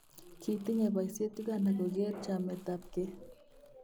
Kitinye boyiisyet uganda kokeer chametabke